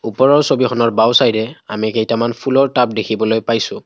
ওপৰৰ ছবিখনৰ বাওঁ চাইডে আমি কেইটামান ফুলৰ টাব দেখিবলৈ পাইছোঁ।